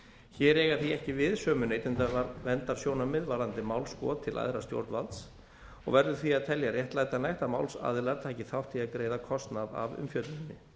hér eiga því ekki við sömu neytendaverndarsjónarmið varðandi málskot til æðra stjórnvalds og verður því að telja réttlætanlegt að málsaðilar taki þátt í að greiða kostnað af umfjölluninni